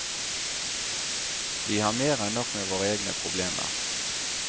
Vi har mer enn nok med våre egne problemer.